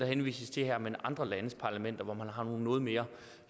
henvises til her men andre landes parlamenter hvor man har nogle noget mere